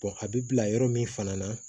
a bɛ bila yɔrɔ min fana na